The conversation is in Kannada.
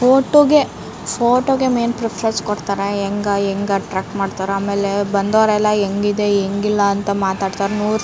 ಫೊಟೊ ಗೆ ಫೊಟೊ ಗೆ ಮೈನ್ ಪ್ರಿಫ್ರೆನ್ಸ್ ಕೊಡ್ತಾರೆ ಎಂಗ ಎಂಗಟ್ರ್ಯಾಕ್ ಮಾಡ್ತಾರೆ ಆಮೇಲೆ ಬಂದೋರೆಲ್ಲಎಂಗಿದೆ ಎಂಗಿಲ್ಲ ಅಂತ ಮಾತಾಡ್ತಾರ ನೂ --